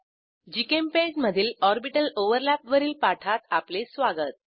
GChemPaint मधील orbital overlap वरील पाठात आपले स्वागत